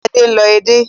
Adé ń lọ edé